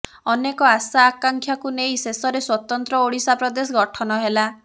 ଅନେକ ଆଶା ଆକାଂକ୍ଷାକୁ ନେଇ ଶେଷରେ ସ୍ୱତନ୍ତ୍ର ଓଡ଼ିଶା ପ୍ରଦେଶ ଗଠନ ହେଲା